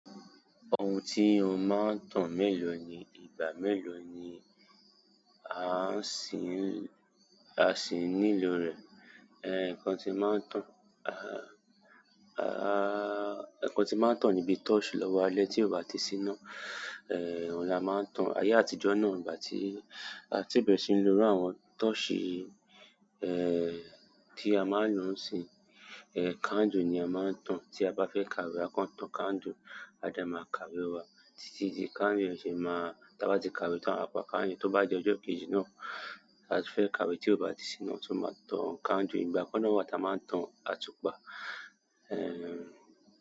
Ohun tí ó máa ń tàn mélòó ni ìgbà mélòó ni a sì ní lò rẹ̀. Nǹkan tí ń má ń tàn ni bíi tọ́ọ́ṣì lọ́wọ́ alẹ́, tí ò bá ti ṣí iná. Òun la má ń tàn. Ayé àtijọ́ náà, ìgbà tí a tíì bẹ̀rẹ̀ sí lo irú àwọn tọ́ọ́ṣì. Ẹ. Tí a máa ń lò níìsín, eh, candle ni a máa ń tàn tí a bá fẹ́ kàwé, a kàn tàn candle a dẹ̀ máa kàwé wá títí tí candle ṣe máa, tí a bá ti kàwé tán, a pa candle. Tó bá di ojọ́ kejì náà a ti fẹ́ kàwé tí o bá ti síná, a tún máa tàn candle. Ìgbà kan náà wa ta máa ń tàn àtùpà, eh.